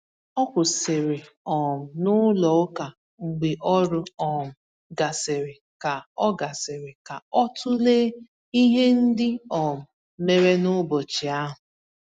O kwụsịrị um n'ụlọ ụka mgbe ọrụ um gasịrị ka ọ gasịrị ka ọ tụlee ihe ndị um mere n’ụbọchị ahụ.